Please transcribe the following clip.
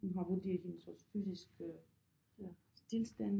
Hun har vurderet hendes også fysiske tilstand